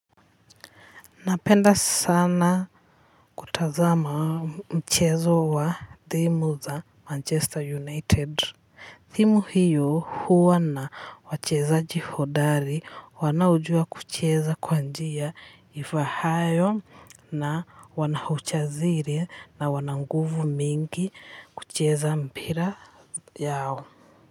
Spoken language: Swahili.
Napenda sana kutazama mchezo wa dhimu za Manchester United. Thimu hiyo huwa na wachezaji hodari wanaojua kucheza kwa njia ifaayo na wana ujasiri na wana nguvu mingi kucheza mpira yao.